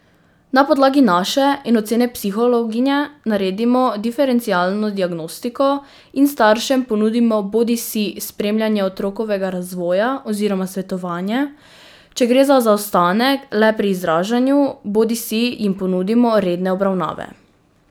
Na podlagi naše in ocene psihologinje naredimo diferencialno diagnostiko in staršem ponudimo bodisi spremljanje otrokovega razvoja oziroma svetovanje, če gre za zaostanek le pri izražanju, bodisi jim ponudimo redne obravnave.